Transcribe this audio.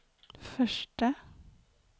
förste